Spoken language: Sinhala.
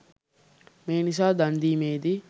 මේ නිසා දන් දීමේදී